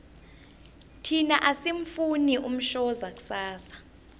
thina asimufuni umshoza kusasa